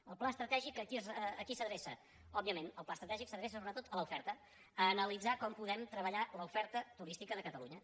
el pla estratègic a qui s’adreça òbviament el pla es·tratègic s’adreça sobretot a l’oferta a analitzar com poder treballar l’oferta turística de catalunya